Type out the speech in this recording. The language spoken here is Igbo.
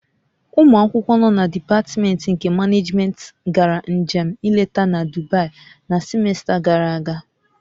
Ụmụ akwụkwọ nọ na dipatmentị nke Manejmentị gara njem nleta na Dubai na simesta gàrà aga